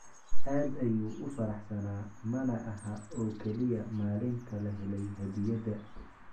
Aad ayuu u faraxsanaa, mana aha oo kaliya maalinta la helay hadiyadda.